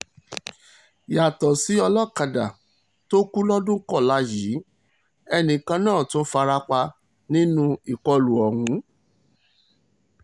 yàtọ̀ sí olókàdá tó kù lọ́dún kọ́lá yìí ẹnìkan náà tún farapa nínú ìkọlù ọ̀hún